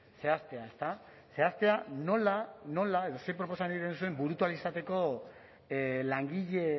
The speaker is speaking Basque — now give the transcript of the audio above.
zehaztea ezta zehaztea nola nola edo ze proposamen egiten duzuen burutu ahal izateko langile